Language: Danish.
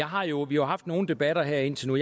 har jo jo haft nogle debatter her indtil nu